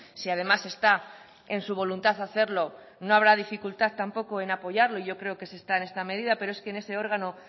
si además está en su voluntad hacerlo no habrá dificultad tampoco en apoyarlo yo creo que se está en esta medida pero es que en ese órgano